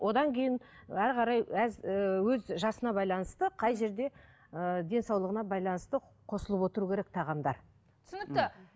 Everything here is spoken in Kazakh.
одан кейін әрі қарай ііі өз жасына байланысты қай жерде ыыы денсаулығына байланысты қосылып отыру керек тағамдар түсінікті